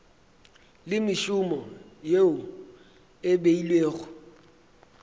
le mešomo yeo e beilwego